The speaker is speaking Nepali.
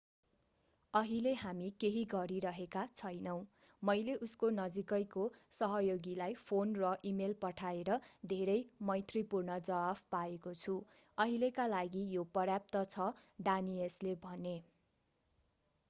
अहिले हामी केही गरिरहेका छैनौं मैले उसको नजिकैको सहयोगीलाई फोन र इमेल पठाएर धेरै मैत्रीपूर्ण जवाफ पाएको छु अहिलेका लागि यो पर्याप्त छ डानियसले भने